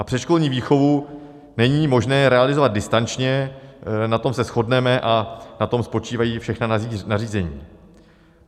A předškolní výchovu není možné realizovat distančně, na tom se shodneme a na tom spočívají všechna nařízení.